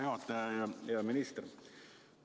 Hea juhataja ja hea minister!